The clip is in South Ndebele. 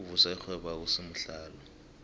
ukuvusa irhwebo akusimuhlalo